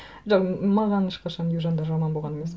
жоқ маған ешқашан южандар жаман болған емес